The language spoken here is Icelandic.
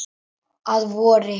Að vori.